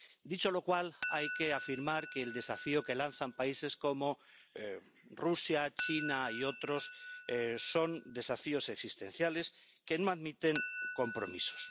Dicho lo cual, hay que afirmar que el desafío que lanzan países como Rusia, China y otros son desafíos existenciales que no admiten compromisos.